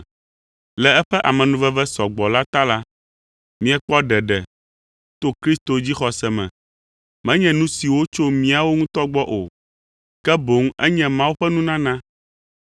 Le eƒe amenuveve sɔ gbɔ la ta la, miekpɔ ɖeɖe to Kristo dzixɔse me, menye nu siwo tso míawo ŋutɔ gbɔ o; ke boŋ enye Mawu ƒe nunana,